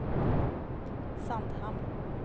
Sandhamn